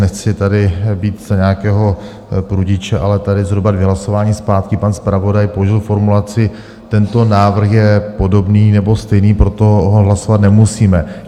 Nechci tady být za nějakého prudiče, ale tady zhruba dvě hlasování zpátky pan zpravodaj použil formulaci "tento návrh je podobný nebo stejný, proto ho hlasovat nemusíme".